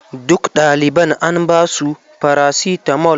Dukka ɗaliban an ba su farasitamol.